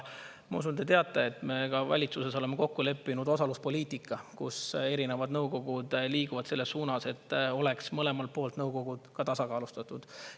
Ma usun, te teate, et ka meie valitsuses oleme kokku leppinud osaluspoliitika, kus erinevad nõukogud liiguvad selles suunas, et oleks mõlemalt poolt nõukogud tasakaalustatud.